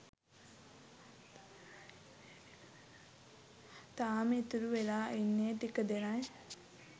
තාම ඉතුරු වෙලා ඉන්නේ ටික දෙනයි.